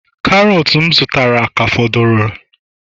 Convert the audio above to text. Karọt m zụtara ka fọdụrụ